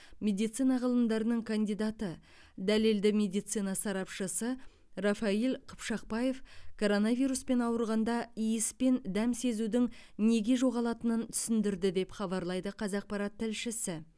медицина ғылымдарының кандидаты дәлелді медицина сарапшысы рафаиль қыпшақбаев коронавируспен ауырғанда иіс пен дәм сезудің неге жоғалатынын түсіндірді деп хабарлайды қазақпарат тілшісі